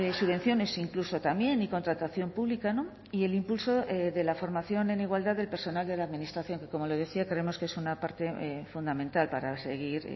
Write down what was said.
subvenciones incluso también y contratación pública y el impulso de la formación en igualdad del personal de la administración que como le decía creemos que es una parte fundamental para seguir